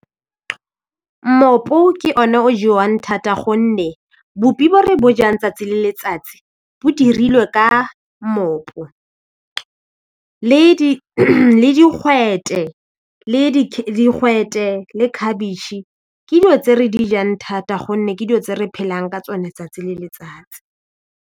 Mmopo ke one o jewang thata gonne boupi bo re bo jang tsatsi le letsatsi bo dirilwe ka mmopo le digwete le digwete le khabitšhe ke dilo tse re di jang thata gonne ke dilo tse re phelang ka tsone tsatsi le letsatsi.